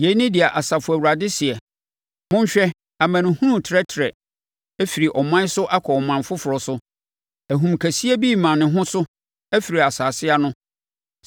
Yei ne deɛ Asafo Awurade seɛ: “Monhwɛ! Amanehunu retrɛtrɛ firi ɔman so kɔ ɔman foforɔ so; ahum kɛseɛ bi rema ne ho so afiri nsase ano.”